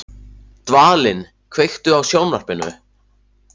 Dvalinn, kveiktu á sjónvarpinu.